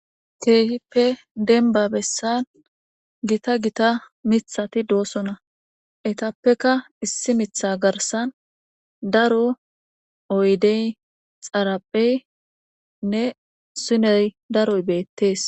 Keehippe denbabessan gita gita mithati doosona etappeka issi mitha garsan daro oydey xarapheynne siney daroy beettees